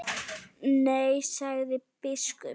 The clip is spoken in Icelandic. Nei, sagði biskup.